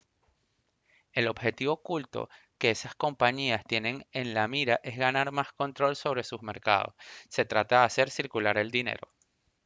el objetivo oculto que esas compañías tienen en la mira es ganar más control sobre sus mercados se trata de hacer circular el dinero